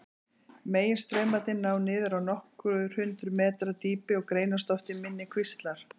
Meginstraumarnir ná niður á nokkur hundruð metra dýpi og greinast oft í minni kvíslar.